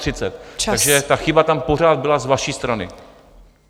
Takže ta chyba tam pořád byla z vaší strany.